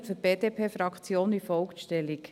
Ich nehme für die BDP-Fraktion wie folgt Stellung: